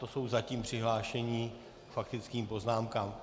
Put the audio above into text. To jsou zatím přihlášení k faktickým poznámkám.